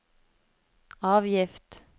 avgift